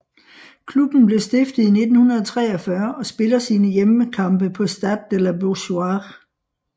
Klubben blev stiftet i 1943 og spiller sine hjemmekampe på Stade de la Beaujoire